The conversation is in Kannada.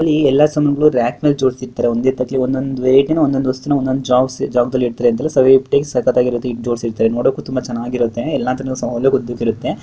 ಇಲ್ಲಿ ಎಲ್ಲ ಸಾಮಾನುಗಳನ್ನು ರ್ಯಾಕ್ ಮೇಲೆ ಜೋಡಿಸಿ ಇಟ್ಟಿರ್ತಾರೆ ಒಂದೇ ಒಂದೊಂದು ವಸ್ತುನ ಒಂದೊಂದು ಜಾಗದಲ್ಲಿ ನೋಡೋಕೆ ತುಂಬಾ ಚೆನ್ನಾಗಿರುತ್ತೆ .